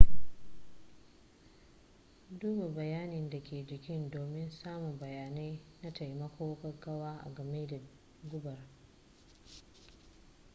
duba bayanin da ke jiki domin samun bayanai na taimakon gaggawa agame da gubar